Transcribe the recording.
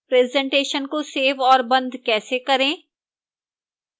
presentation को save और बंद कैसे करें